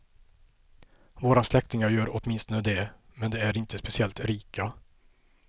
Våra släktingar gör åtminstone det, men de är inte speciellt rika.